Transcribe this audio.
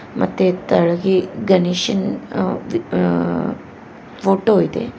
ಮತ್ತೆ ತೆಳಗಿ ಗಣೇಶನ ಆ ವಿ ಫೋಟೋ ಇದೆ.